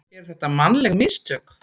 Eru þetta mannleg mistök?